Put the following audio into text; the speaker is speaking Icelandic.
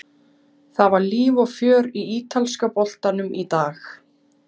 Það var líf og fjör í ítalska boltanum í dag.